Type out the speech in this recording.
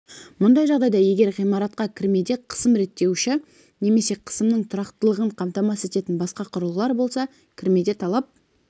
мұндай жағдайда егер ғимаратқа кірмеде қысым реттеуіші немесе қысымның тұрақтылығын қамтамасыз ететін басқа құрылғылар болса кірмеде талап